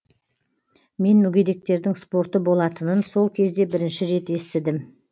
мен мүгедектердің спорты болатынын сол кезде бірінші рет естідім